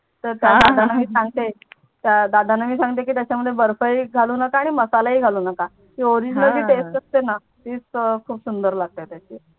त्या दादाणा मी सांगते की त्याच्या मध्ये बर्फ ही घालू नोको आणि मसाला ही घालू नोको ती Original taste हा असते णा तीच तर खूप सुंदर लागते त्याची